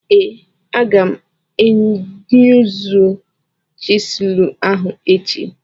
Ee, aga m eyuzu chịselu ahụ echi.